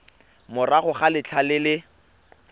morago ga letlha le le